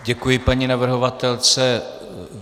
Děkuji paní navrhovatelce.